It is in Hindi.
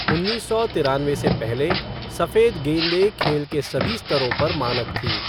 उन्नीस सौ तिरानवे से पहले, सफेद गेंदें खेल के सभी स्तरों पर मानक थीं।